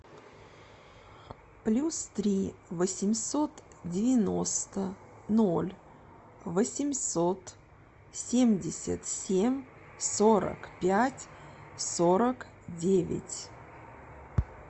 плюс три восемьсот девяносто ноль восемьсот семьдесят семь сорок пять сорок девять